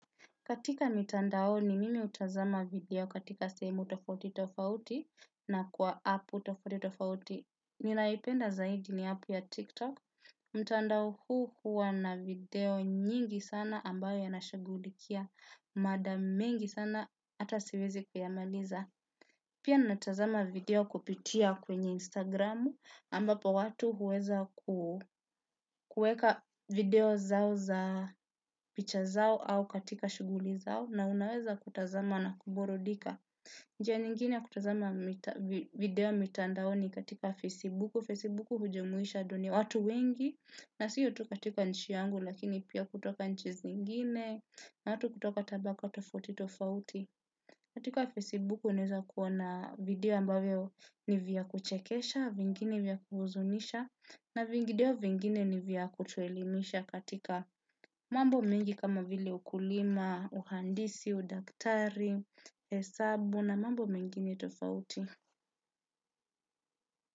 Katika mitandaoni mimi utazama video katika semu tofauti tofauti na kwa apu tofauti tofauti. Ninaipenda zaidi ni apu ya TikTok. Mtandao huu hua na video nyingi sana ambayo yanashugulikia. Mada mengi sana ata siwezi kuyamaliza. Pia natazama video kupitia kwenye Instagramu ambapo watu huweza kueka video zao za picha zao au katika shuguli zao. Na unaweza kutazama na kuburudika. Njia nyingine ya kutazama video mitandaoni katika Facebook Facebook hujumuisha dunia watu wengi. Na siyo tu katika nchi yangu lakini pia kutoka nchi zingine. Na watu kutoka tabaka tofauti tofauti Katika Facebook uneza kuona video ambavio ni vya kuchekesha. Vingine vya kuhuzunisha. Na vingideo vingine ni vya kutuelimisha katika mambo mengi kama vile ukulima, uhandisi, udaktari, hesabu na mambo mingine tofauti.